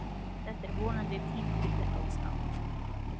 En þetta er vonandi tímabundið ástand.